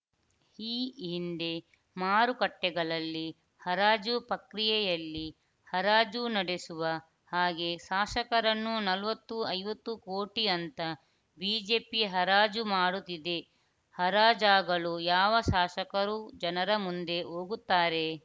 ಈ ಹಿಂದೆ ಮಾರುಕಟ್ಟೆಗಳಲ್ಲಿ ಹರಾಜು ಪ್ರಕ್ರಿಯೆಯಲ್ಲಿ ಹರಾಜು ನಡೆಸುವ ಹಾಗೇ ಶಾಸಕರನ್ನು ನಲವತ್ತು ಐವತ್ತು ಕೋಟಿ ಅಂತ ಬಿಜೆಪಿ ಹರಾಜು ಮಾಡುತ್ತಿದೆ ಹರಾಜಾಗಲು ಯಾವ ಶಾಸಕರು ಜನರ ಮುಂದೆ ಹೋಗುತ್ತಾರೆ